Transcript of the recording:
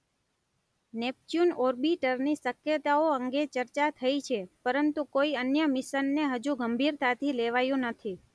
Neptune ઓર્બિટરની શક્યતાઓ અંગે ચર્ચા થઇ છે પરંતુ કોઇ અન્ય મિશનને હજુ સુધી ગંભીરતાથી લેવાયું નથી.